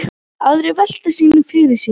Aðrir velta sínu fyrir sér.